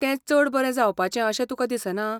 तें चड बरें जावपाचें अशें तुका दिसना?